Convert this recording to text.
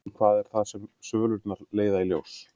En hvað er það sem svölurnar leiða í ljós?